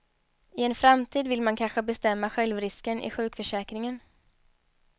I en framtid vill man kanske bestämma självrisken i sjukförsäkringen.